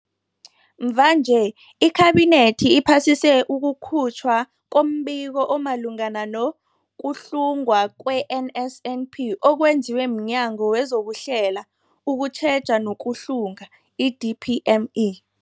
Mvanje, iKhabinethi iphasise ukukhutjhwa kombiko omalungana nokuhlungwa kwe-NSNP okwenziwe mNyango wezokuHlela, ukuTjheja nokuHlunga, i-DPME.